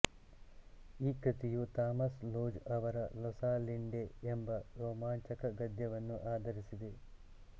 ಈ ಕೃತಿಯು Thomas Lodge ಅವರ ರೊಸಾಲಿಂಡೆ ಎಂಬ ರೊಮಾಂಚಕ ಗದ್ಯವನ್ನು ಆಧರಿಸಿದೆ